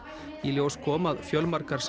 í ljós kom að fjölmargar